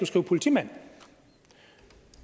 skrive politimand og